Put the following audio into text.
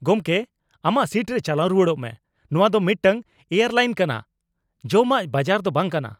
ᱜᱚᱢᱠᱮ, ᱟᱢᱟᱜ ᱥᱤᱴ ᱨᱮ ᱪᱟᱞᱟᱣ ᱨᱩᱣᱟᱹᱲᱚᱜ ᱢᱮ, ᱱᱚᱶᱟ ᱫᱚ ᱢᱤᱫᱴᱟᱝ ᱮᱭᱟᱨᱞᱟᱭᱤᱱ ᱠᱟᱱᱟ, ᱡᱚᱢᱟᱜ ᱵᱟᱡᱟᱨ ᱫᱚ ᱵᱟᱝᱠᱟᱱᱟ !